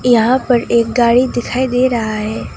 यहां पर एक गाड़ी दिखाई दे रहा है।